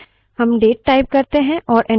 अतः हम साधारणतः keyboard से input देते हैं